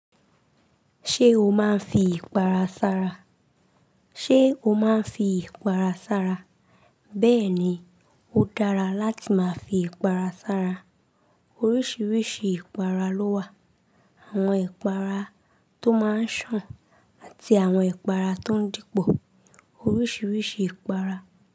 Ṣé o máa ń fi ìpara sára? Ṣé o máa ń fi ìpara sára? Bẹ́ẹ̀ ni, ó dára láti máa fi ìpara sára. Oríṣiríṣi ìpara ló wà. Àwọn ìpara tó máa ń sàn àti àwọn ìpara tó ń dípò. Oríṣiríṣi ìpara.